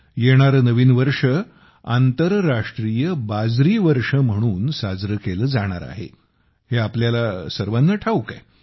येणारे नवीन वर्ष आंतरराष्ट्रीय बाजरी वर्ष म्हणून साजरे केले जाणार आहे हे आपल्याला सर्वांना ठाऊक आहे